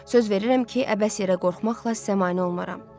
Söz verirəm ki, əbəs yerə qorxmaqla sizə mane olmazam.